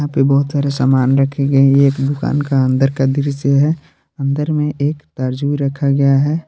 पे बहुत सारे सामान रखे गए हैं ये एक दुकान का अंदर का दृश्य है अंदर में एक तारजू भी रखा गया है।